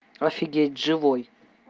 офигеть живой